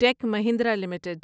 ٹیک Mahindra limited